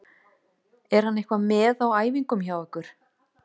Er hann eitthvað með á æfingum hjá ykkur?